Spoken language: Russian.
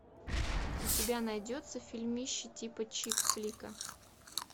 у тебя найдется фильмище типа чик флика